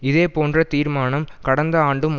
இதே போன்ற தீர்மானம் கடந்த ஆண்டும்